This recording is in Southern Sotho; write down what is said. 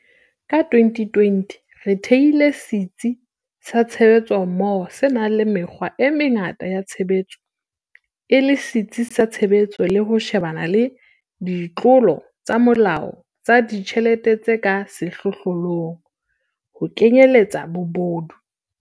Ka 2020, re thehile Setsi sa Tshebetsommoho se nang le mekgwa e mengata ya tshebetso e le setsi sa tshebetso le ho shebana le ditlolo tsa molao tsa ditjhelete tse ka sehlohlolong, ho kenyeletsa bobodu.